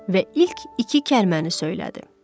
Və ilk iki kəlməni söylədi.